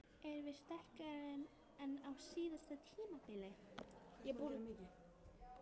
Erum við sterkari en á síðasta tímabili?